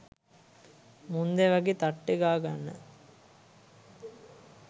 මුන්දෑ වගේ තට්ටේ ගාගන්න